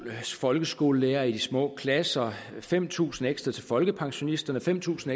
folkeskolelærere i de små klasser fem tusind kroner ekstra til folkepensionisterne fem tusind